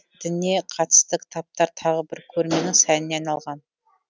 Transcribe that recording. дініне қатысты кітаптар тағы бір көрменің сәніне айналған